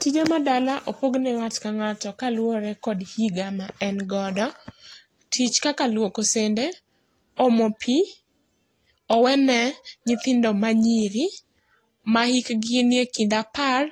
Tije ma dala opogne ng'ata ka ng'ato kaluwore kod higa ma en godo. Tich kaka tij omo pi owene nyithindo ma nyiri ma hikgi ni e kind apar